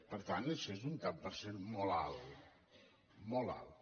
per tant això és un tant per cent molt alt molt alt